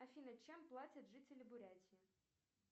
афина чем платят жители бурятии